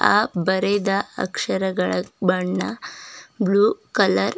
ಆ ಬರೆದ ಅಕ್ಷರಗಳ ಬಣ್ಣ ಬ್ಲೂ ಕಲರ್ --